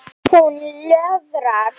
Hún löðrar.